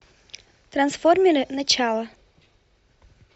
трансформеры начало